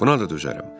Buna da dözərəm.